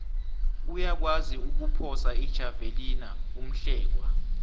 uyakwazi ukuphosa ijavelina umhlekwa